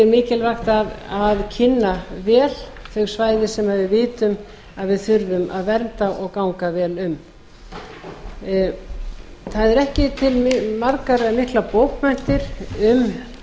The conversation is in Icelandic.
er mikilvægt að kynna vel þau svæði sem við vitum að við þurfum að vernda og ganga vel um það eru ekki til margar eða miklar bókmenntir um